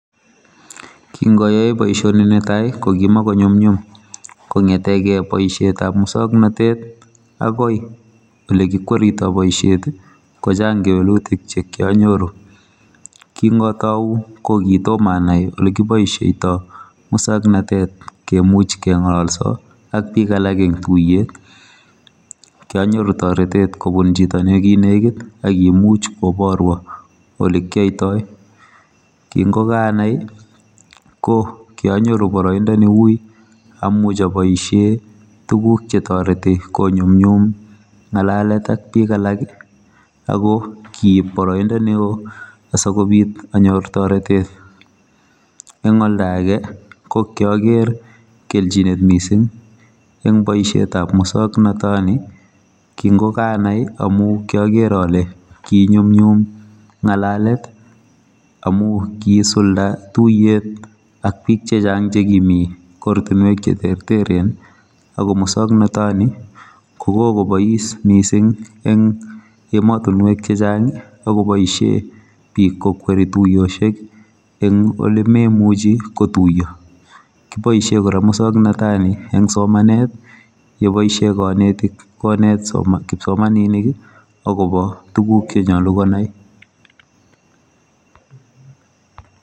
Kingoyoe boisioni netai kokimakonyumnyum kongete keoe boisietab muswoknatet akoi ole kikweritoi boisiet kochang kewelutik che kianyoru kingatou kokitomo anai ole kiboisieitoi muswoknotet kemuch kengololso ak bik alak eng tuiyet kianyoru toretet kobun chito nekinekit akimuch koborwo olekioitoi kingokanai kokianyoru boroindo neuui amuch aboisie tuguk chetoreti konyumnyum ngalalet ak bik alak akokiib boroindo neo asikobit anyor toretet eng oldoage kokioger kelchinet mising eng boisietab muswoknatoni kingokanai amu kiager ale kinyumnyum ngalalet amu kisulda tuiyet ak bik chechang chekimi kortunwek cheterteren ako muswoknatoni kokokobois mising eng ematunwek chechang akoboishe bik kokweri tuiyosiek eng ole memuchi kotuiyo kiboisie kora muswoknatoni eng somanet yeboisie kanetik konet kipsomaninik akobo tuguk chenyalu konai.